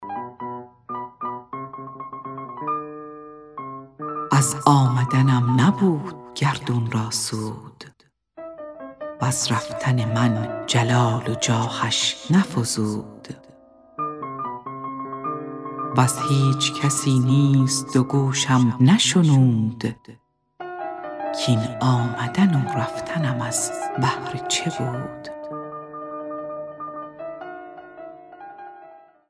از آمدنم نبود گردون را سود وز رفتن من جلال و جاهش نفزود وز هیچ کسی نیز دو گوشم نشنود کاین آمدن و رفتنم از بهر چه بود